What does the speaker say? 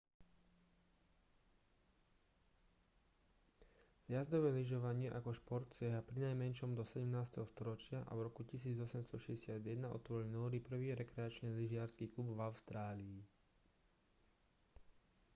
zjazdové lyžovanie ako šport siaha prinajmenšom do 17. storočia a v roku 1861 otvorili nóri prvý rekreačný lyžiarsky klub v austrálii